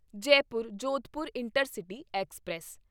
Jaipur Jodhpur intercity express